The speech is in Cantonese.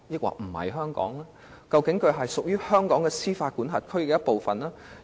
那麼，口岸區是否仍屬於香港和香港司法管轄區的一部分呢？